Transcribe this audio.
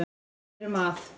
Við erum að